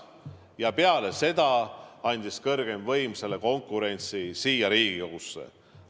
Ja peale seda andis kõrgeim võim selle konkurentsi üle siia Riigikogusse.